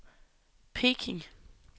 Peking